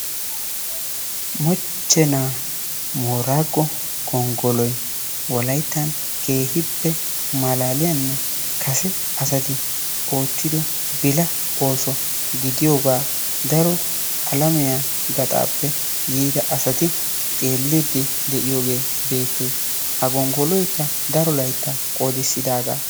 Moochchenaa boraago gonggoloy wolayttan keehippe malaaliyaanne kase asati oottido bila ooso gidiyoogaa daro alamiyaa gaxaappe yiida asati xeelliidi de'iyoogee beettees. Ha gonggoloykka daro layttaa qoodisidaagaa.